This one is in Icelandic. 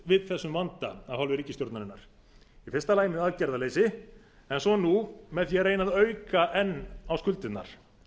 við þessum vanda af hálfu ríkisstjórnarinnar í fyrsta lagi með aðgerðarleysi en svo nú með því að reyna að auka enn á skuldirnar